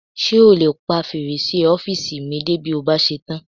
Ṣé o lè pa fèrèsé ọ́fìsì mi dé bí o bá ṣe tán?